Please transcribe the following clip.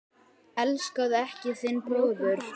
Elskaðu ekki þinn bróður.